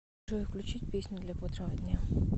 джой включить песню для бодрого дня